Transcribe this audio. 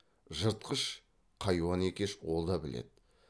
жыртқыш қайуан екеш ол да біледі